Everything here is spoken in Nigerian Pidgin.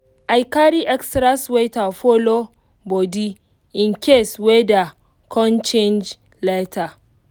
i carry extra sweater follow body in case weda con change later.